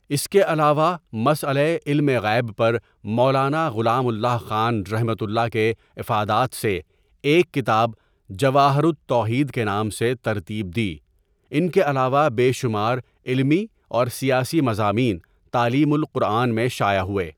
اس کےعلاوہ مسئلہ علم غیب پرمولانا غلام الله خان رح کےافادات سےایک کتاب جواہرالتوحید کےنام سےترتیب دی ان کے علاوہ بےشمارعلمی اورسیاسی مضامین تعلیم القرآن میں شائع ہوئے.